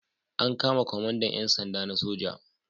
An kama kwamandan 'yan sanda na soja.